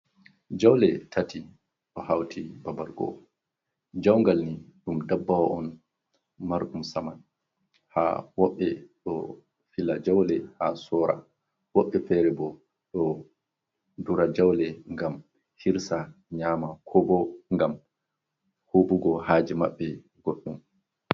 Jaawle tati ɗo hawti babal go'o. Jaawngal ni ɗum ndabbawa on marɗum saman, haa woɓɓe ɗo fila jaawle haa soora, waɓɓe feere boo ɗo dura jaawle ngam hirsa nyama koo boo ngam huuɓugo haaji maɓɓe goɗɗum.